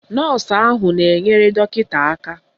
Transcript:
Nọọsụ ahụ na-enyere dọkịta aka.